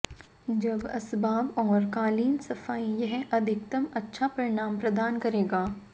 जब असबाब और कालीन सफाई यह अधिकतम अच्छा परिणाम प्रदान करेगा